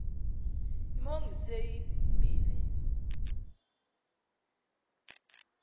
imhongi se yibile